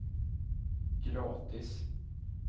gratis